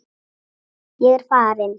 Ég er farin.